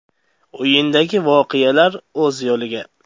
O‘yindagi voqealar o‘z yo‘liga.